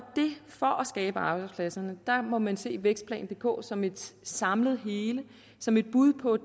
skabe arbejdspladserne må man se vækstplan dk som et samlet hele som et bud på